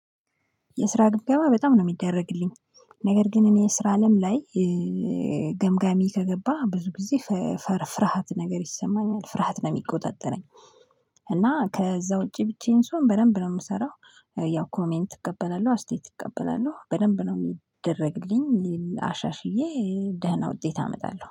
የስራ ግምገማ በጣም ነው የሚደረግልኝ። ነገር ግን እኔ የስራ አለም ላይ ገምጋሚ ከገባ ብዙ ጊዜ ፍርሃት ነገር ይሰማኛል ፍርሃት ነው የሚቆጣጠረኝ። እና ከዛ ውጪ ብቻዬን ስሆን በደንብ ነው የምሰራው። ያው ኮሜንት እቀበላለሁ አስተያየት እቀበላለሁ በደንብ ነው የሚደረግልኝ አሻሽዬ ደህና ውጤት አመጣለሁ